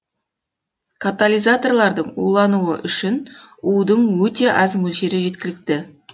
катализаторлардын улануы үшін удың өте аз мөлшері жеткілікті